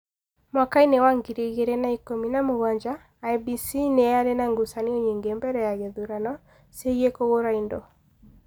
Mwaka-inĩ wa ngiri igĩrĩ na ikũmi na mũgwanja IEBC nĩ yarĩ na ngucanio nyingĩ mbere ya gĩthurano, ciĩgiĩ kũgũra indo.